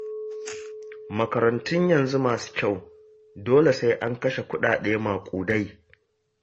Makarantun yanzu masu kyau, dole sai an kashe kuɗaɗe maƙudai